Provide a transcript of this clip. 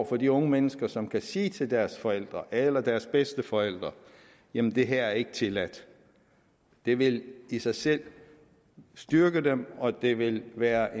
for de unge mennesker som kan sige til deres forældre eller deres bedsteforældre jamen det her er ikke tilladt det vil i sig selv styrke dem og det vil være